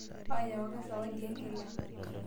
Aayaka zawadi enkila.